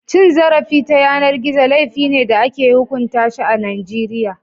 Cin zarafi ta yanar gizo laifi ne da ake hukunta shi a Najeriya